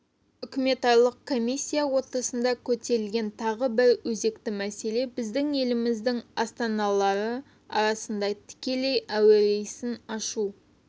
үкіметаралық комиссия отырысында көтерілген тағы бір өзекті мәселе біздің елдеріміздің астаналары арасында тікелей әуе рейсін ашу